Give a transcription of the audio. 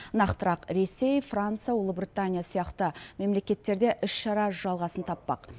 нақтырақ ресей франция ұлыбритания сияқты мемлекеттерде іс шара жалғасын таппақ